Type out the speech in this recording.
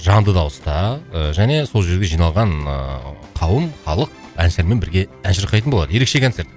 жанды дауыста ыыы және сол жерде жиналған ыыы қауым халық әншілермен бірге ән шырқайтын болады ерекше концерт